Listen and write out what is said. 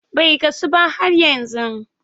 Bai gasu ba hhat yanzu.